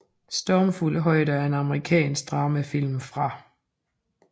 Stormfulde højder er en amerikansk dramafilm fra